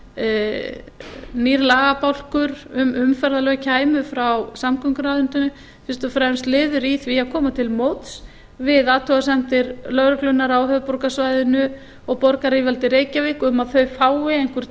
að nýr lagabálkur um umferðarlög kæmu frá samgönguráðuneytinu fyrst og fremst liður í því að koma til móts við athugasemdir lögreglunnar á höfuðborgarsvæðinu og borgaryfirvalda í reykjavík um að þau fái einhver